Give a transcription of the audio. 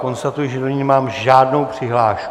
Konstatuji, že do ní nemám žádnou přihlášku.